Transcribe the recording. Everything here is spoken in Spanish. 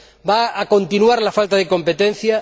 ¿Va a continuar la falta de competencia?